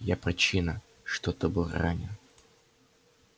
я причина что ты был ранен